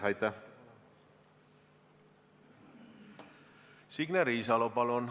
Signe Riisalo, palun!